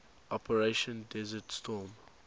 operation desert storm